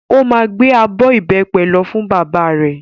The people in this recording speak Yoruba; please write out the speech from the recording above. Ó máa gbé abọ́ ìbẹ́pẹ lọ fún bàbá rẹ̀.